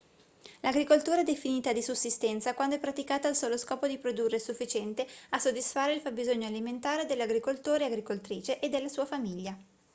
l'agricoltura è definita di sussistenza quando è praticata al solo scopo di produrre il sufficiente a soddisfare il fabbisogno alimentare dell'agricoltore/agricoltrice e della sua famiglia